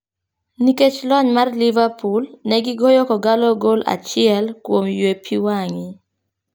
Nikech lony mar liverpool ne gigoyo kogallo gol achiel kuom yue pii wangi.